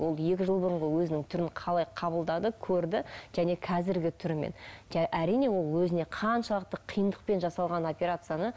ол екі жыл бұрынғы өзінің түрін қалай қабылдады көрді және қазіргі түрімен әрине ол өзіне қаншалықты қиындықпен жасалған операцияны